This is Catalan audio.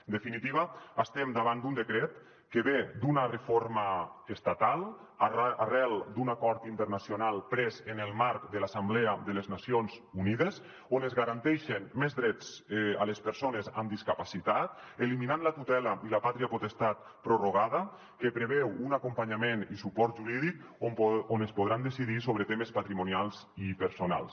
en definitiva estem davant d’un decret que ve d’una reforma estatal arran d’un acord internacional pres en el marc de l’assemblea de les nacions unides on es garanteixen més drets a les persones amb discapacitat eliminant la tutela i la pàtria potestat prorrogada que preveu un acompanyament i suport jurídic on es podrà decidir sobre temes patrimonials i personals